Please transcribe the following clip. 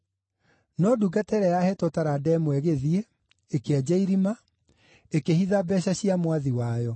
No ndungata ĩrĩa yaheetwo taranda ĩmwe ĩgĩthiĩ, ĩkĩenja irima, ĩkĩhitha mbeeca cia mwathi wayo.